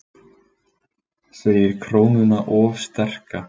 Segir krónuna of sterka